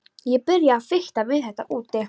Ég byrjaði að fikta við þetta úti.